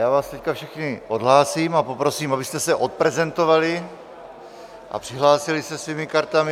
Já vás teď všechny odhlásím a poprosím, abyste se odprezentovali a přihlásili se svými kartami.